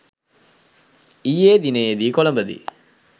ඊයේ දිනයේදී කොලඹදී